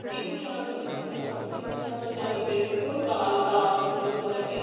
ਤਿੰਨ ਚਾਰ ਲਗਵਾ ਲਾ ਤਿੰਨ ਚਾਰ ਤਾਂ ਚਾਹੀਦੇ ਵੀ ਉਹ ਦਾਲ ਦਾਲ ਦੇ ਉੱਪਰ ਫਰਕ ਹੈ